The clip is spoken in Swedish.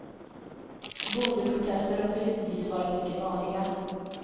Bondeprotester har periodvis varit mycket vanliga.